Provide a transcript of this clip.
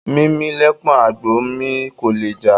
Mímì lẹpọ̀n àgbò ńmì; kò lè já